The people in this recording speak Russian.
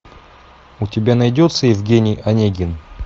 у тебя найдется евгений онегин